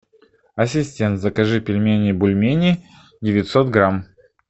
ассистент закажи пельмени бульмени девятьсот грамм